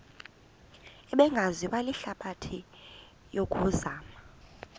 ebingaziwa lihlabathi yokuzama